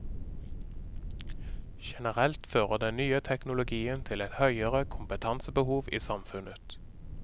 Generelt fører den nye teknologien til et høyere kompetansebehov i samfunnet.